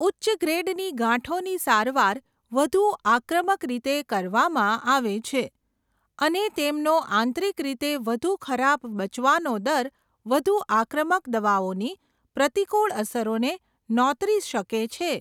ઉચ્ચ ગ્રેડની ગાંઠોની સારવાર વધુ આક્રમક રીતે કરવામાં આવે છે, અને તેમનો આંતરિક રીતે વધુ ખરાબ બચવાનો દર વધુ આક્રમક દવાઓની પ્રતિકૂળ અસરોને નોતરી શકે છે.